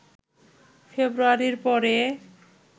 ফেব্রুয়ারির পরে